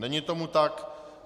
Není tomu tak.